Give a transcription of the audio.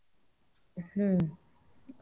ಹ್ಮ.